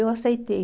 Eu aceitei.